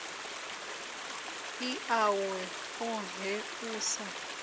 ḽi ḽawe ḽoṱhe u sa